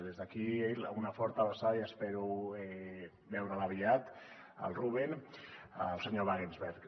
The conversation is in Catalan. des d’aquí una forta abraçada i espero veure’l aviat el ruben el senyor wagensberg